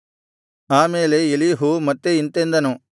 ಆ ಮೇಲೆ ಎಲೀಹು ಮತ್ತೆ ಇಂತೆಂದನು